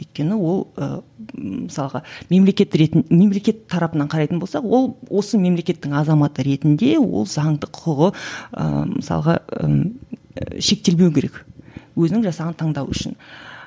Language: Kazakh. өйткені ол ы мысалға мемлекет ретін мемлекет тарапатынан қарайтын болсақ ол осы мемлекеттің азаматы ретінде ол заңды құқығы ыыы мысалға ы шектелмеу керек өзінің жасаған таңдауы үшін